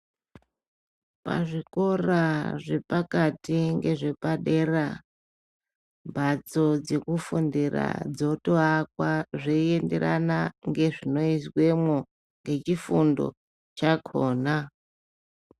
Pazvikora zvepakati ngezvepadera, mbatso dzekufundira dzotoakwa zveienderana ngezvinoizwemwo, ngechifundo chakhona.